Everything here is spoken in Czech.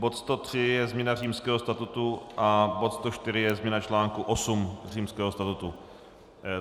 Bod 103 je změna Římského statutu a bod 104 je změna článku 8 Římského statutu.